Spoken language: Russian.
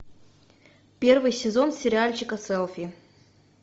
первый сезон сериальчика селфи